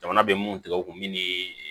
Jamana bɛ mun tigɛ u kun min